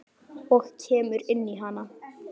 Og kemur inn í hana.